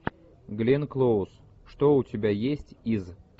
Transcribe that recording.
гленн клоуз что у тебя есть из